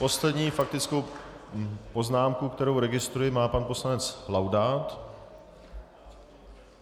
Poslední faktickou poznámku, kterou registruji, má pan poslanec Laudát.